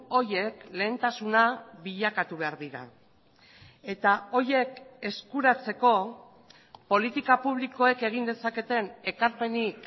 horiek lehentasuna bilakatu behar dira eta horiek eskuratzeko politika publikoek egin dezaketen ekarpenik